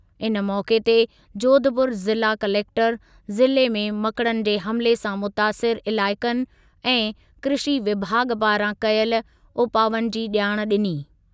इन मौक़े ते जोधपुर ज़िला कलेक्टरु ज़िले में मकड़नि जे हमिले सां मुतासिरु इलाइक़नि ऐं कृषी विभाॻु पारां कयल उपावनि जी ॼाण ॾिनी।